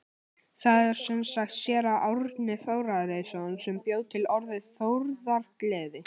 Það er sem sagt séra Árni Þórarinsson sem bjó til orðið þórðargleði.